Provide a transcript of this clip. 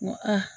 N ko aa